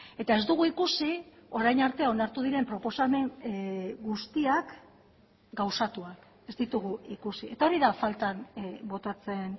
eta ez dugu ikusi orain arte onartu diren proposamen guztiak gauzatuak ez ditugu ikusi eta hori da faltan botatzen